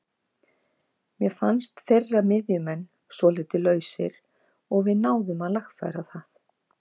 Mér fannst þeirra miðjumenn svolítið lausir og við náðum að lagfæra það.